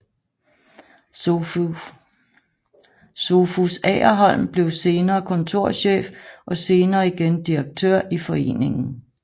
Sophus Agerholm blev senere kontorchef og senere igen direktør i foreningen